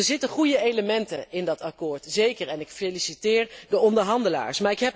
Er zitten goede elementen in dat akkoord, zeker, en ik feliciteer de onderhandelaars.